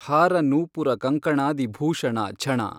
ಹಾರ ನೂಪುರ ಕಂಕಣಾದಿ ಭೂಷಣ ಝಣ।